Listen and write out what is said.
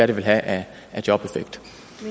det vil have af jobeffekt